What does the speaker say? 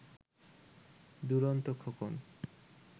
Duronto Khokon